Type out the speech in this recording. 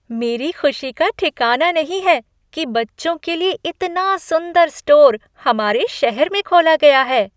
मेरी खुशी का ठिकाना नहीं है कि बच्चों के लिए इतना सुंदर स्टोर हमारे शहर में खोला गया है।